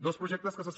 dos projectes que se